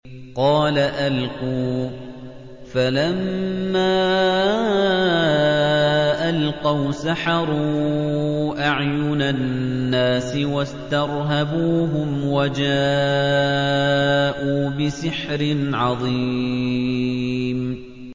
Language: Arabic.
قَالَ أَلْقُوا ۖ فَلَمَّا أَلْقَوْا سَحَرُوا أَعْيُنَ النَّاسِ وَاسْتَرْهَبُوهُمْ وَجَاءُوا بِسِحْرٍ عَظِيمٍ